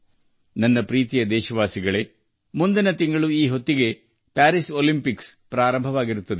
ನನ್ನ ಪ್ರೀತಿಯ ದೇಶವಾಸಿಗಳೆ ಮುಂದಿನ ತಿಂಗಳು ಈ ಹೊತ್ತಿಗೆ ಪ್ಯಾರಿಸ್ ಒಲಿಂಪಿಕ್ಸ್ ಪ್ರಾರಂಭವಾಗಲಿದೆ